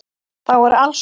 Þá er alls von.